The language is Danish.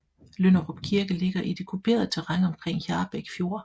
Lynderup Kirke ligger i det kuperede terræn omkring Hjarbæk Fjord